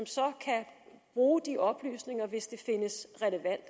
bruge de oplysninger hvis det findes relevant